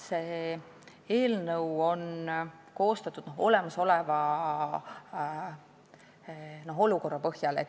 See eelnõu on koostatud olemasoleva olukorra põhjal.